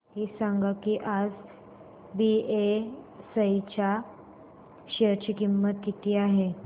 हे सांगा की आज बीएसई च्या शेअर ची किंमत किती आहे